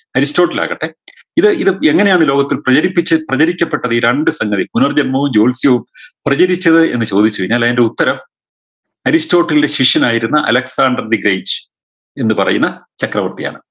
Aristotle ആകട്ടെ ഇത് ഇത് എങ്ങനെയാണ് ലോകത്തിൽ പേടിപ്പിച്ച് പ്രചരിക്കപ്പെട്ടവ ഈ രണ്ട് സംഗതി പുനർജന്മവും ജ്യോൽസ്യവും പ്രചരിച്ചത് എന്ന് ചോദിച്ചു കൈനാൽ അയിൻറെ ഉത്തരം അരിസ്റ്റോട്ടിൽൻറെ ശിഷ്യനായിരുന്ന അലക്‌സാണ്ടർ ഡിഗ്രീജ് എന്ന് പറയുന്ന ചക്രവർത്തിയാണ്